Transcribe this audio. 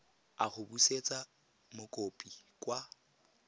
a go busetsa mokopi kwa